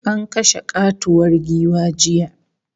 An kashe katuwar giwa jiya